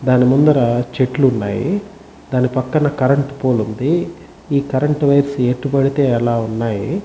దాని ముందర చెట్లున్నాయి దాని పక్కన కరెంటు పోల్ ఉంది ఈ కరెంటు వైరస్ ఎటు పడితే ఆలా ఉన్నాయి.